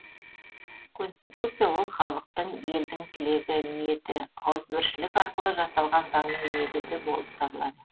конституция ол халықтың елдің тілегі ниеті ауызбіршілік арқылы жасалған заңның негізі болып табылады